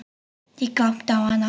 Ég glápti á hana.